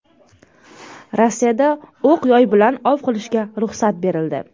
Rossiyada o‘q-yoy bilan ov qilishga ruxsat berildi.